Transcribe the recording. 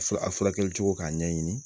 Sɔrɔ a furakɛli cogo k'a ɲɛɲini